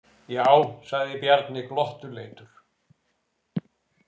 Já, sagði Bjarni glottuleitur.